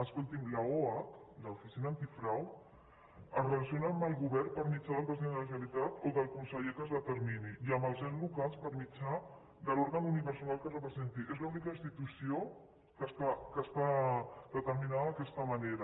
escolti’m l’oac l’oficina antifrau es relaciona amb el govern per mitjà del president de la generalitat o del conseller que es determini i amb els ens locals per mitjà de l’òrgan unipersonal que representi és l’única institució que està determinada d’aquesta manera